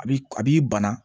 A b'i a b'i bana